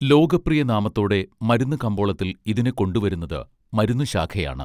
ലോകപ്രിയ നാമത്തോടെ മരുന്ന് കമ്പോളത്തിൽ ഇതിനെ കൊണ്ടുവരുന്നത് മരുന്നു ശാഖയാണ്